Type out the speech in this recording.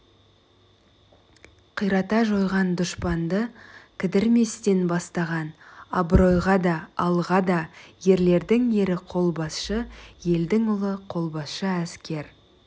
қирата жойған дұшпанды кідірместен бастаған абыройға да алға да ерлердің ері қолбасшы елдің ұлы қолбасшы әскер